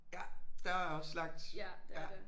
Ja der er også langt ja